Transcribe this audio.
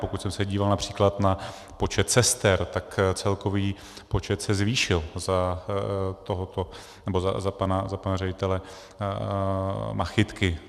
Pokud jsem se díval například na počet sester, tak celkový počet se zvýšil za pana ředitele Machytky.